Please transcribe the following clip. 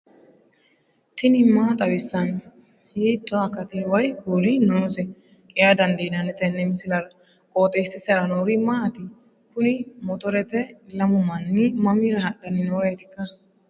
tini maa xawissanno ? hiitto akati woy kuuli noose yaa dandiinanni tenne misilera? qooxeessisera noori maati? kuni motorete lamu manni mamira hadhanni nooreetikka